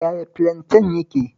Yaya filanten yake?